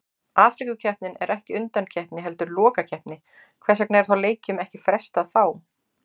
Afríkukeppnin er ekki undankeppni heldur lokakeppni, hvers vegna er leikjum ekki frestað þá?